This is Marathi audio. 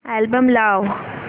अल्बम लाव